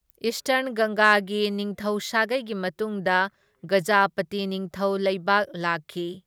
Eastern ꯒꯪꯒꯥꯒꯤ ꯅꯤꯡꯊꯧ ꯁꯥꯒꯩꯒꯤ ꯃꯇꯨꯡꯗ ꯒꯖꯥꯄꯇꯤ ꯅꯤꯡꯊꯧ ꯂꯩꯕꯥꯛ ꯂꯥꯛꯈꯤ꯫